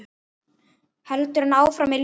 Heldur hann áfram með liðið?